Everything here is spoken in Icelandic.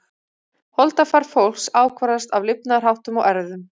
Holdafar fólks ákvarðast af lifnaðarháttum og erfðum.